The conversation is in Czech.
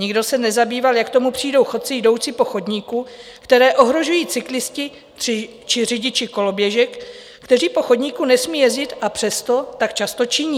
Nikdo se nezabýval, jak k tomu přijdou chodci jdoucí po chodníku, které ohrožují cyklisté či řidiči koloběžek, kteří po chodníku nesmí jezdit, a přesto tak často činí.